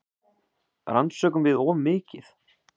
Rannsökum við of mikið?